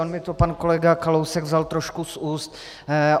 On mi to pan kolega Kalousek vzal trošku z úst.